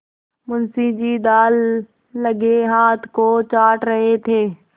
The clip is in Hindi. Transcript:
मुंशी जी दाललगे हाथ को चाट रहे थे